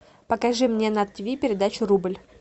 покажи мне на тиви передачу рубль